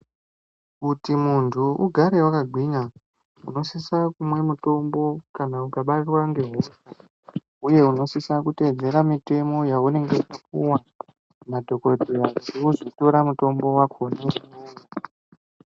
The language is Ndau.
Kuti munthu ugare wakagwinya, unosise kumwe mitombo, kana ukabatwa ngehosha. Uye unosise kuteedzera mitemo yeunenge wapuwa nadhokodheya kuti wozotora mutombo wakona uwowo.